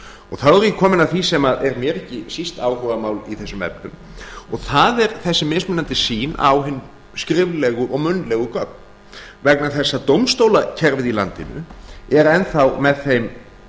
þá er ég kominn að því sem er mér ekki síst áhugamál í þessum efnum og það er þessi mismunandi sýn á hin skriflegu og munnlegu gögn vegna þess að dómstólakerfið í landinu er enn þá með þeim